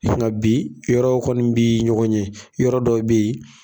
E fana bi yɔrɔ kɔni b'i ɲɔgɔn ɲɛ, yɔrɔ dɔ bɛ yen.